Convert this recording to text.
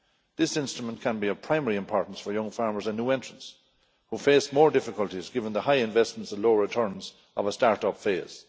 This instrument can be of primary importance for young farmers and new entrants, who face more difficulties given the high investments and low returns of a start up phase.